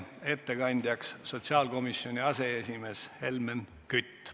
Ettekandjaks sotsiaalkomisjoni aseesimees Helmen Kütt.